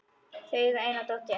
Þau eiga eina dóttur.